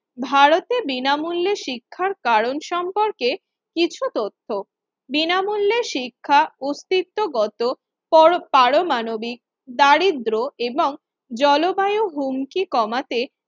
ভারতে বিনামূল্যে শিক্ষার কারণ সম্পর্কে কিছু তথ্য, বিনামূল্যে শিক্ষা অস্তিত্বগত পরপারমাণবিক দারিদ্র এবং জলবায়ু হুমকি কমাতে